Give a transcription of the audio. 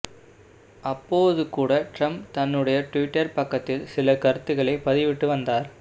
அப்போது கூட டிரம்ப் தன்னுடைய டுவிட்டர் பக்கத்தில் சில கருத்துக்களை பதிவிட்டு வந்தார்